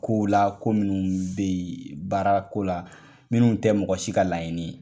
Ko la ko minun be yen baara ko la minun tɛ mɔgɔ si ka laɲini ye.